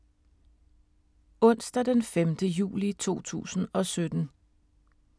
Onsdag d. 5. juli 2017